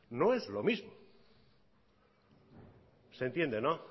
no es lo mismo se entiende no